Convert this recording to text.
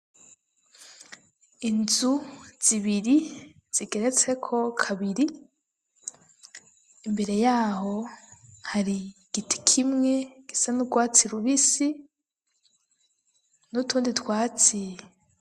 Inzu zibiri zigeretseko kabiri ,imbere yaho hari igiti kimwe gisa n'urwatsi rubisi n'utundi twatsi.